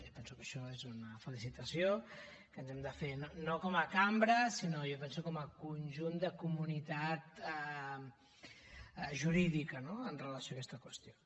jo penso que això és una felicitació que ens hem de fer no com a cambra sinó jo penso com a conjunt de comunitat jurídica no amb relació a aquesta qüestió